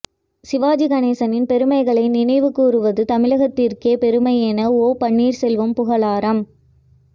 சிவாஜி கணேசனின் பெருமைகளை நினைவு கூறுவது தமிழகத்திற்கே பெருமை என ஓ பன்னீர் செல்வம் புகழாரம்